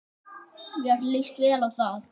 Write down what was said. Mér líst vel á það.